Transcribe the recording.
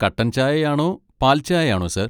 കട്ടൻ ചായയാണോ പാൽച്ചായയാണോ, സാർ?